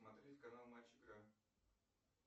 смотреть канал матч игра